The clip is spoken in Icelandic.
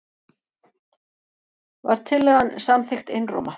Var tillagan samþykkt einróma.